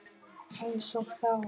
Einsog þá.